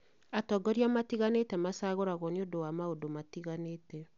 Atongoria matiganĩte macagũragwo nĩũndũ wa maũndũ matiganĩte